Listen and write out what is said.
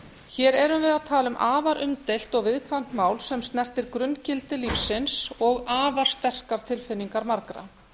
hér erum við að tala um afar umdeilt og viðkvæmt mál sem snertir grunngildi lífsins og afar sterkar tilfinningar margra